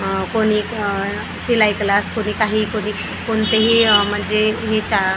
आह कोणी आह शिलाई क्लास कोणी काही कोणी कधी कोणतेही म्हणजे हे चा करत--